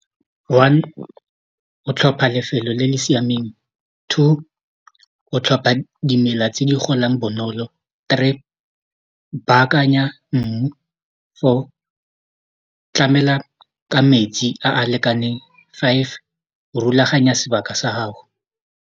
One o tlhopha lefelo le le siameng two o tlhopha dimela tse di golang bonolo three baakanya mmu four tlamela ka metsi a a lekaneng five rulaganya sebaka sa gago.